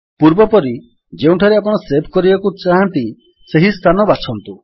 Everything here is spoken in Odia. ପୂର୍ବପରି ଯେଉଁଠାରେ ଆପଣ ସେଭ୍ କରିବାକୁ ଚାହାଁନ୍ତି ସେହି ସ୍ଥାନ ବାଛନ୍ତୁ